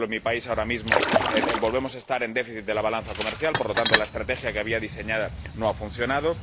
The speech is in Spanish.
por ejemplo, en mi país ahora mismo volvemos a estar en déficit de la balanza comercial, de modo que la estrategia que había diseñada no ha funcionado.